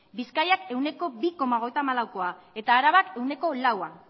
bizkaiak ehuneko bi koma hogeita hamalaukoa eta arabak ehuneko laua